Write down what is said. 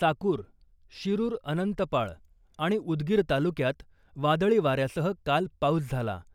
चाकूर , शिरुर अनंतपाळ , आणि उदगीर तालुक्यात वादळी वाऱ्यासह काल पाऊस झाला .